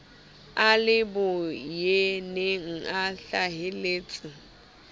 a le boyeneng a hlaheletse